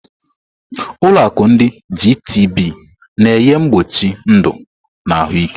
Ụlọ akụ ndi Gitibii na-enye mkpuchi ndụ na ahụike.